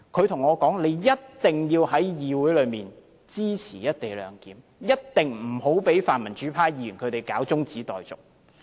他跟我說，一定要在議會裏支持"一地兩檢"；一定不要讓泛民主派議員提出中止待續。